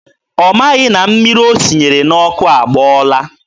Ọ maghị na mmiri o sinyere n'ọkụ agbọọla.